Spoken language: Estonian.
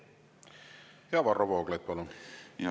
Varro Vooglaid, palun!